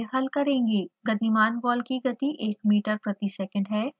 गतिमान वॉल की गति 1 मीटर प्रति सेकंड है